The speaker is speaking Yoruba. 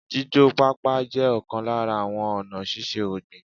Jíjó pápá jẹ́ ọ̀kan lára àwọn ọ̀nà síse ọ̀gbìn